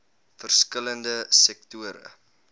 verskil lende sektore